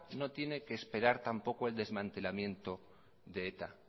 no tiene que esperar tampoco el desmantelamiento de eta